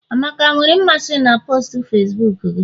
amaka nwere mmasị na postu Facibuku gị?